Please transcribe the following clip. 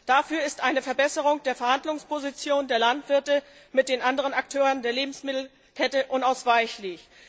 Dafür ist eine Verbesserung der Verhandlungsposition der Landwirte gegenüber den anderen Akteuren der Lebensmittelkette unausweichlich.